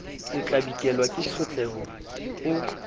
o tlabikelwa ke tshotleho o